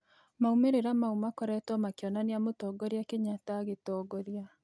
Maumĩrĩra maũ makoretwo makĩonanĩa mũtongorĩa Kenyatta agĩongoria